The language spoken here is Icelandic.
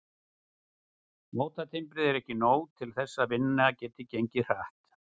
Mótatimbrið er ekki nóg til þess að vinnan geti gengið hratt.